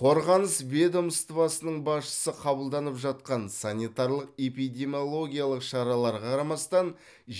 қорғаныс ведомствосының басшысы қабылданып жатқан санитарлық эпидемиологиялық шараларға қарамастан